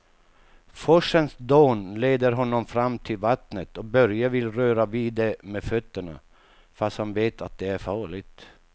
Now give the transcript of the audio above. Forsens dån leder honom fram till vattnet och Börje vill röra vid det med fötterna, fast han vet att det är farligt.